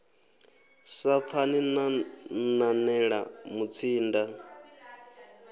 sa pfani na nanela mutsinda